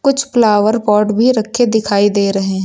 कुछ flower pot भी रखें दिखाई दे रहे हैं।